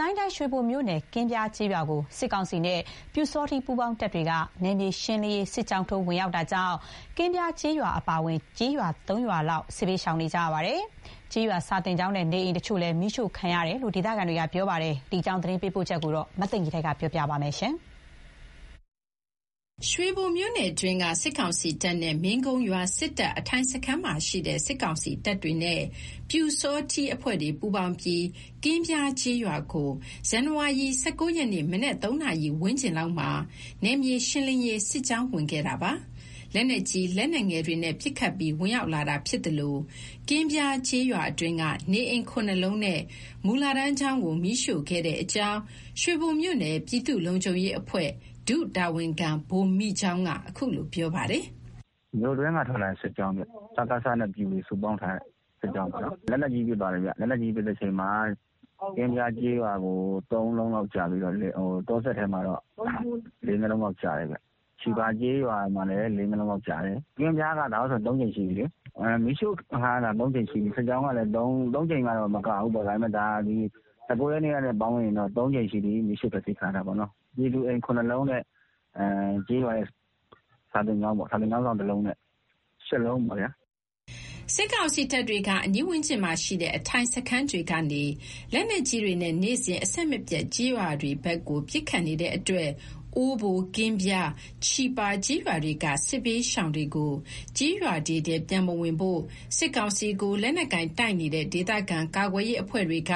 ကိုင်းတိုင်း ရွှေဘိုမြို့နယ် ကင်းဗြားကျေးရွာကို စစ်ကောင်စီနဲ့ ပျူစောထီး ပူးပေါင်းတပ်တွေက နယ်မြေရှင်းလင်းရေး စစ်ကြောင်းထိုးဝင်ရောက်တာကြောင့် ကင်းဗြားကျေးရွာအပါအဝင် ကျေးရွာ ၃ ရွာလောက် စစ်ဘေးရှောင်နေရပါတယ်။ ကျေးရွာစာသင်ကျောင်းနဲ့ နေအိမ်တချို့လည်း မီးရှို့ခံရတယ်လို့ဒေသခံ တွေကပြောပါတယ်။ ဒီအကြောင်း သတင်းပေးပို့ချက်ကို မသိင်္ဂီထိုက်ပြောပြမှာပါ။ ရွှေဘိုမြို့နယ်အတွင်းက စစ်ကောင်စီတပ်နဲ့ မင်းကုန်းရွာက စစ်တပ်အထိုင်စခန်းမှာရှိတဲ့ စစ်ကောင်စီတပ်တွေနဲ့ ပျူစောထီးအဖွဲ့တွေ ပူးပေါင်းပြီး ကင်းဗြားကျေးရွာကို ဇန်နဝါရီ ၁၉ ရက်နေ့ မနက် ၃ နာရီဝန်းကျင်လောက်မှာ နယ်မြေရှင်းလင်းရေး စစ်ကြောင်းဝင်ခဲ့တာပါ။ လက်နက်ကြီး၊ လက်နက်ငယ်တွေနဲ့ ပစ်ခတ်ပြီး ဝင်ရောက်လာတာ ဖြစ်သလို ကင်းဗြားကျေးရွာအတွင်းက နေအိမ် ၇ လုံးနဲ့ မူလတန်းကျောင်းကို မီးရှို့ခဲ့တဲ့အကြောင်း ရွှေဘိုမြို့နယ် ပြည်သူ့လုံခြုံရေးအဖွဲ့ ဒုတာဝန်ခံ ဗိုလ်မိကျောင်းက ခုလိုပြောပါတယ်။ “မြို့တွင်းက ထွက်လာတဲ့ စစ်ကြောင်းဗျ။ စကစနဲ့ ပျူတွေပေါင်းထားတဲ့ စစ်ကြောင်း။ လက်နက်ကြီးနဲ့ ပစ်ပြီးဝင်တာဗျ။ လက်နက်ကြီးပစ်တဲ့အချိန်မှာ ကင်းဗြားရွာကို ၃ လုံးလောက်ကျပြီးတော့ တောစပ်ထဲကိုတော့ ၄၊ ၅ လုံးလောက်ကျတယ်ဗျ။ ချီပါ ကျေးရွာမှာလည်း ၄၊ ၅ လုံးလောက်ကျတယ်။ ကင်းဗြားက ဒါနဲ့ဆို ၃ ကြိမ်ရှိပြီလေ၊ မီးရှို့ခံရတာ ၃ ကြိမ်ရှိပြီ။ စစ်ကြောင်းကလဲ ၃ကြိမ်မကဘူး။ ၁၉ ရက်နေ့ကနဲ့ ပေါင်းရင် ၃ကြိမ်ရှိပြီ မီးရှို့ဖျက်ဆီးခံ၇တာပေါ့နော်။ ပြည်သူအိမ် ၇ လုံးနဲ့ ကျေးရွာ စာသင်ကျောင်းနဲ့ ဆိုတော့ ၈ လုံးပေါ့ဗျာ။” စစ်ကောင်စီတပ်တွေက အနီးဝန်းကျင်မှာရှိတဲ့ အထိုင်စခန်းတွေကနေ လက်နက်ကြီးတွေနဲ့ နေ့စဉ်အဆက်မပြတ် ကျေးရွာတွေဖက်ကို ပစ်ခတ်နေတဲ့အတွက် အိုးဘို၊ ကင်းဗြား၊ ချီပါ ကျေးရွာတွေက စစ်ဘေးရှောင်တွေကို ကျေးရွာတွေထဲ ပြန်မဝင်ဖို့ စစ်ကောင်စီကို လက်နက်ကိုင်တိုက်နေတဲ့ ဒေသခံကာကွယ် ရေးအဖွဲ့တွေက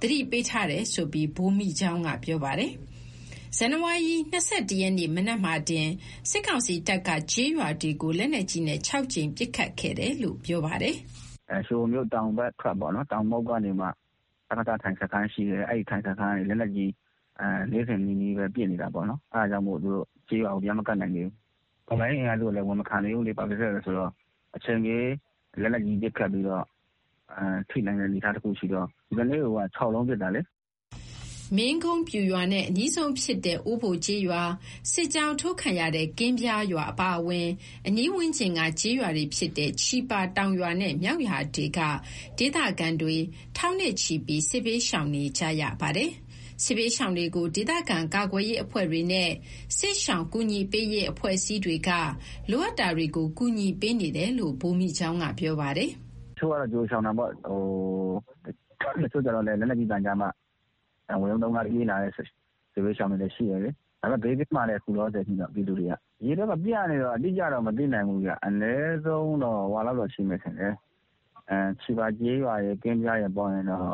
သတိပေးထားတယ်ဆိုပြီး ဗိုလ်မိကျောင်းက ပြောပါတယ်။ ဇန်နဝါရီ ၂၁ ရက်နေ့ မနက်မှာတင် စစ်ကောင်စီတပ်က ကျေးရွာတွေကို လက်နက်ကြီးနဲ့ ၆ ကြိမ် ပစ်ခတ်ခဲ့တယ်လို့ ပြောပါတယ်။ “ရွှေဘိုမြို့ တောင်မုဒ်ကနေမှ အဲ့မှာ အထိုင်စခန်းရှိတယ်၊ အထိုင်စခန်းကနေမှ နေ့စဉ်နီးနီးပဲ ပစ်နေတာပေါ့နော်။ အဲ့ဒါကြောင့်မို့ ကျေးရွာကို သူတို့တွေ ပြန်မကပ်နိုင်သေးဘူး။ တော်လှန်ရေး အင်အားစုကလဲ အဝင်မခံသေးဘူးလေ ဘာဖြစ်လို့လဲဆိုတော့ အချိန်မရွေး လက်နက်ကြီး ပစ်ခတ်ပြီးတော့ ထိနိုင်တဲ့ အနေအထားတခုရှိတော့ ကနေ့ကိုက ၆ လုံးပစ်တာလေ။” မင်းကုန်းပျူရွာနဲ့ အနီးဆုံးဖြစ်တဲ့ အိုးဘိုကျေးရွာ၊ စစ်ကြောင်းထိုးခံရတဲ့ ကင်းဗြားရွာအပါအဝင် အနီးဝန်းကျင်က ကျေးရွာတွေဖြစ်တဲ့ ချီပါတောင်ရွာနဲ့ မြောက်ရွာတွေက ဒေသခံတွေ ထောင်နဲ့ချီပြီး စစ်ဘေးရှောင်နေကြရပါတယ်။ စစ်ဘေးရှောင်တွေကို ဒေသခံ ကာကွယ်ရေးအဖွဲ့တွေနဲ့ စစ်ရှောင်ကူညီပေးရေး အဖွဲ့အစည်းတွေက လိုအပ်တာတွေကို ကူညီပေးနေတယ်လို့ ဗိုလ်မိကျောင်းက ပြောပါတယ်။ “တချို့ကျတော့ ကြိုရှောင်တာပေါ့၊ တချို့ကျတော့လည်းလက်နက်ကြီးသံကြားမှ ဝရုန်းသုန်းကားနဲ့ ပြေးလာတဲ့ စစ်ဘေးရှောင်တွေလည်း ရှိတယ်လေ။ ဒါပေမယ့် ဘေးကင်းပါတယ်၊ ခုလောလောဆယ်ကတော့ ပြည်သူတွေအားလုံး။ ဒီဖက်မှာက ပြန့်နေကြတော့ အတိအကျတော့ မသိနိုင်ဘူးဗျ။ အနည်းဆုံး ချီပါနဲ့ ကင်းဗြားပေါင်းရင်တောင်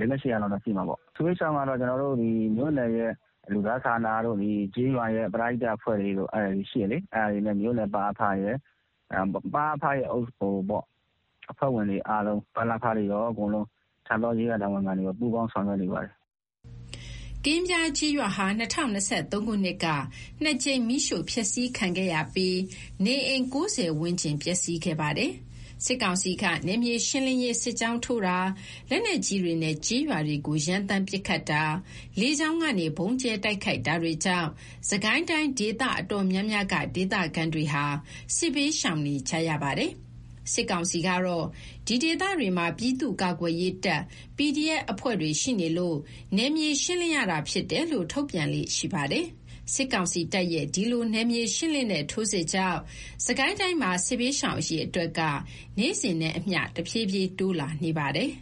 ၈၀၀ လောက်တော့ ရှိမယ်။ စစ်ဘေးရှောင်တွေကိုကတော့ မြို့နယ်ရဲ့ လူသားစာနာတို့၊ ဒီကျေးရွာရဲ့ ပရဟိတအဖွဲ့တွေတို့ ရှိတယ်လေ၊ အဲ့ဒါနဲ့ မြို့နယ် ပ.အ.ဖ ရယ်၊ ပ.အ.ဖ အဖွဲ့ဝင်တွေအားလုံး ပ.လ.ဖတွေရော ကျေးရွာတာဝန်ခံတွေ အားလုံး ပူးပေါင်း ဆောင်ရွက်နေပါတယ်။” ကင်းဗြားကျေးရွာဟာ ၂၀၂၃ ခုနှစ်က ၂ ကြိမ် မီးရှို့ဖျက်ဆီးခံခဲ့ရပြီး နေအိမ် ၉၀ ဝန်းကျင် ပျက်စီးခဲ့ပါတယ်။ စစ်ကောင်စီက နယ်မြေရှင်းလင်းရေး စစ်ကြောင်းထိုးတာ၊ လက်နက်ကြီးတွေနဲ့ ကျေးရွာတွေကို ရမ်းသမ်း ပစ်ခတ်တာ၊ လေကြောင်းကနေ ဗုံးကြဲတိုက်ခိုက်တာတွေကြောင့် စစ်ကိုင်းတိုင်း ဒေသအတော်များများက ဒေသခံတွေဟာ စစ်ဘေးရှောင်နေကြရပါတယ်။ စစ်ကောင်စီကတော့ ဒီဒေသတွေမှာ ပြည်သူ့ကာကွယ်ရေးတပ် PDF အဖွဲ့ တွေရှိနေလို့ နယ်မြေရှင်းလင်းရတာဖြစ်တယ်လို့ ထုတ်ပြန်လေ့ရှိပါတယ်။ စစ်ကောင်စီတပ်ရဲ့ ဒီလို နယ်မြေရှင်းလင်းတဲ့ ထိုးစစ်ကြောင့် စစ်ကိုင်းတိုင်းမှာ စစ်ဘေးရှောင်အရေအတွက်က နေ့စဉ်နဲ့အမျှ တဖြည်းဖြည်း တိုးလာနေပါတယ်